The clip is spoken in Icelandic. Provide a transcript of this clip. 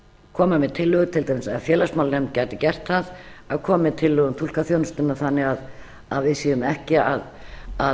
koma með tillögu til dæmis ef félagsmálanefnd gæti gert það að koma með tillögu um túlkaþjónustuna þannig að við séum ekki að